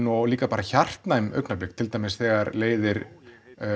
og líka bara hjartnæm augnablik til dæmis þegar leiðir